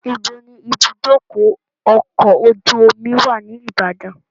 Ibo ni ìbúdókọ̀ ọkọ̀ ojú omi wà ní Ìbàdàn?